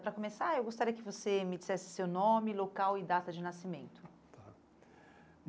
Para começar, eu gostaria que você me dissesse seu nome, local e data de nascimento. Tá.